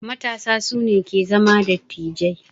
Matasa su ne ke zama dattijai.